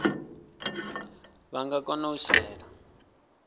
vha nga kona u shela